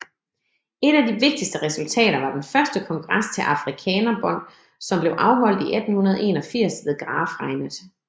Et af de vigtigste resultater var den første kongres til Afrikaner Bond som blev afholdt i 1881 ved Graaf Reinet